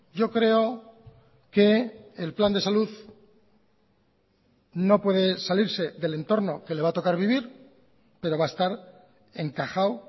yo creo que el plan de salud no puede salirse del entorno que le va a tocar vivir pero va a estar encajado